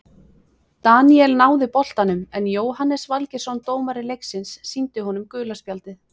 Daníel náði boltanum en Jóhannes Valgeirsson dómari leiksins sýndi honum gula spjaldið.